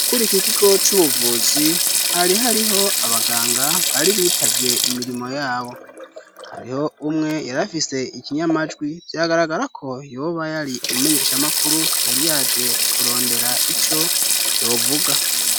Kuri ikikigo c'ubuvuzi ,hari hariho abaganga bari bitavye imirimo yabo ,hariho umwe yarafise ikinyamajwi vyagaragara ko yoba yari umumenyesha makuru yari yaje kurondera ico yovuga.